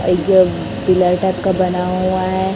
Bilari type का बना हुआ है।